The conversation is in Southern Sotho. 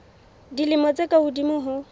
dilemo tse ka hodimo ho